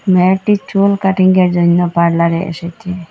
মেয়েটির চুল কাটিঙ্গের জইন্য পার্লারে এসেছে।